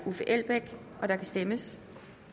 og der kan stemmes